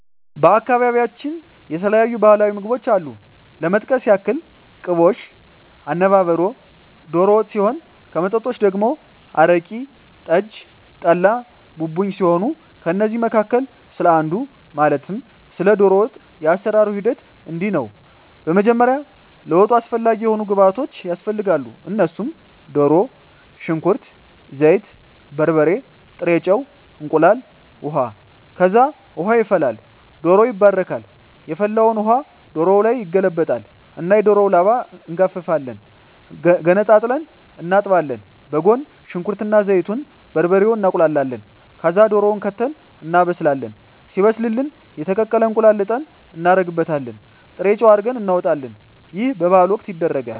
በአካባቢያቸው የተለያዩ ባህላዊ ምግቦች አሉ ለመጥቀስ ያክል ቅቦሽ፣ አነባበሮ፣ ዶሮ ወጥ ሲሆን ከመጠጦች ደግሞ አረቂ፣ ጠጅ፣ ጠላ፣ ቡቡኝ ሲሆኑ ከእነዚህ መካከል ስለ አንዱ ማለትም ስለ ዶሮ ወጥ የአሰራሩ ሂደት እንዲህ ነው በመጀመሪያ ለወጡ አስፈላጊ የሆኑ ግብዓቶች ያስፈልጋሉ እነሱም ድሮ፣ ሽንኩርት፣ ዘይት፣ በርበሬ፣ ጥሬ ጨው፣ እንቁላል፣ ውሀ፣ ከዛ ውሃ ይፈላል ዶሮው ይባረካል የፈላውን ውሀ ዶሮው ላይ ይገለበጣል እና የዶሮውን ላባ እንጋፍፋለን ገነጣጥለን እናጥባለን በጎን ሽንኩርት እና ዘይቱን፣ በርበሬውን እናቁላላለን ከዛ ድሮውን ከተን እናበስላለን ሲበስልልን የተቀቀለ እንቁላል ልጠን እናረግበታለን ጥሬጨው አርገን እናወጣለን ይህ በበዓል ወቅት ይደረጋል።